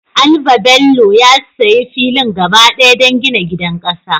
Albabello ya sayi filin gaba ɗaya don gina gidan ƙasa.